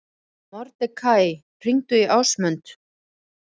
Mordekaí, hringdu í Ásmund.